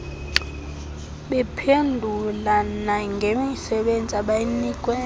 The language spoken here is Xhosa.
bephendule nangemisebenzi abayinikwe